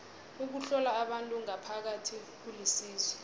ukuhlola abantu ngaphakathi kulisizo